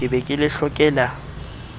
ke be ke le hlokela